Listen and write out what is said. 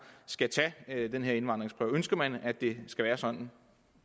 skal tage den her indvandringsprøve ønsker man at det skal være sådan